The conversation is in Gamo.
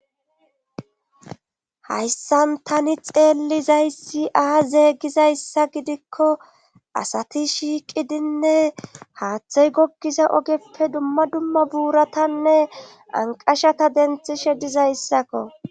hayssan tani xeellizayssi aa zeegizayssa gidikko asati shiiqidinne haaththey gokkiza ogeppe dumma dumma buuratanne anqashata denthishe dizayssakko